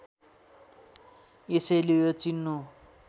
यसैले यो चिन्नु